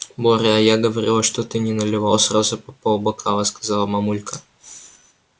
боря а я говорила чтобы ты не наливал сразу по полбокала сказала мамулька